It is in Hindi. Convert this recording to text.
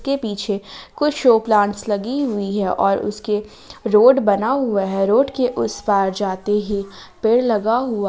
के पीछे कुछ शो प्लांट्स लगी हुई है और उसके रोड बना हुआ है रोड के उस पार जाते ही पेड़ लगा हुआ--